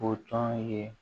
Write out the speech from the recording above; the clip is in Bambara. O tɔn ye